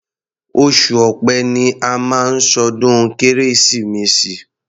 Oṣù Ọ̀pẹ ni a máa ń ṣọdún Kérésìmesì.